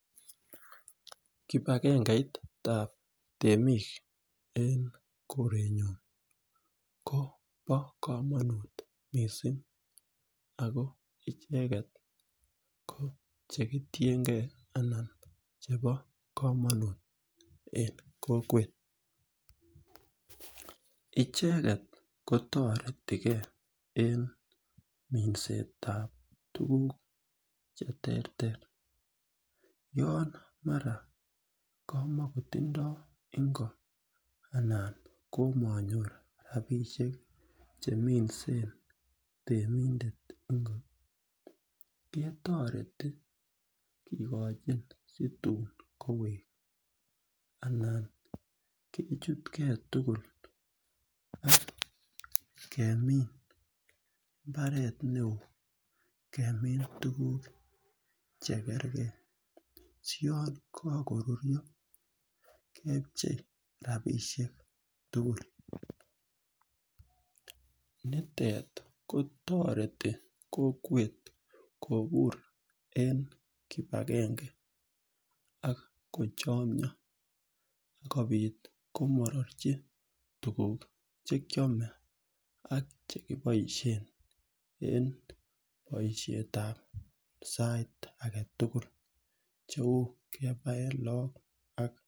Kip agengeitap temik eng' korenyun ko pa kamanut missing' ako icheget ko che kitengei anan chepo kamanut eng' kokwet. Icheget ko taretigei eng' minset ap tuguuk che terter. Yan mara kamakotindai eng' ko anan ko manyor rapisek che temishen temindet ngot ketareti kikachin si tun koweek anan kechutgei tugul ak kemin mbaret ne oo, kemin tuguuk che kergei, si yan kakorurya kepchei rapishek tugul nitet kotsreti kokwet kopur eng' kip agenge ak kochamia komarerchi tuguuk che kiame ak che paishen en paetap sait age tugul cheu kepaen lagok.